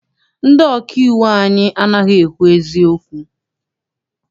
Ndị ọkà iwu anyị anaghị ekwu eziokwu.